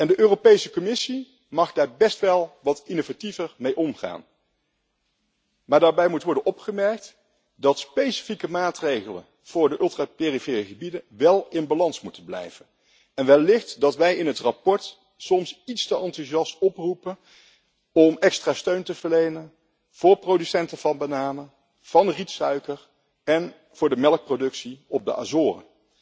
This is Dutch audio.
De Europese Commissie mag daar best wel wat innovatiever mee omgaan. Maar daarbij moet worden opgemerkt dat specifieke maatregelen voor de ultra perifere gebieden wel in balans moeten blijven en wellicht dat wij in het verslag soms iets te enthousiast oproepen om extra steun te verlenen voor producenten van bananen, van rietsuiker en voor de melkproductie op de Azoren.